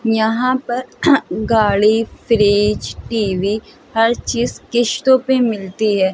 यहाँ पर गाड़ी फ्रिज टी.वी. हर चीज़ कीस्टो पे मिलती हैं।